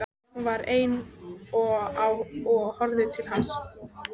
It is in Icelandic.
Hún var ein á og horfði til lands.